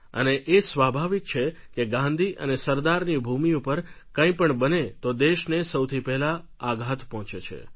અને એ સ્વાભાવિક છે કે ગાંધી અને સરદારની ભૂમિ ઉપર કંઈ પણ બને તો દેશને સૌથી પહેલા આઘાત પહોંચે છે